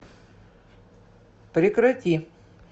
прекрати